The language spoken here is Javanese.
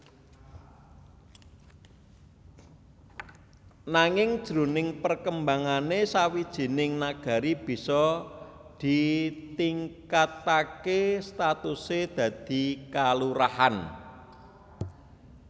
Nanging jroning perkembangané sawijining Nagari bisa ditingkataké statusé dadi kalurahan